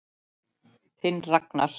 Þinn Ragnar.